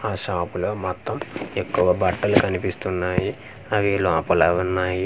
ఆ షాప్ లో మొత్తం ఎక్కువ బట్టలు కనిపిస్తున్నాయి అవి లోపల ఉన్నాయి చాలా.